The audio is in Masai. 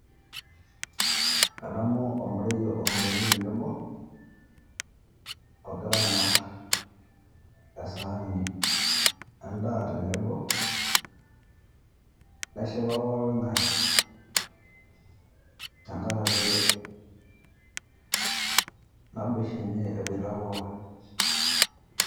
Adamu olmarei ototoni tenebo, ogira aang`ar esaani en`daa tenebo. Neshipa pooki ng`ae tenkaraki naboisho enye ebuaita pookin.